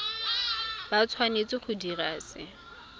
ba tshwanetse go dira se